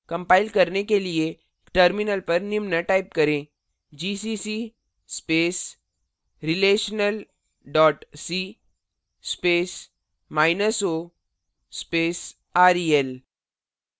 compile करने के लिए terminal पर निम्न type करें gcc space relational dot c spaceo space rel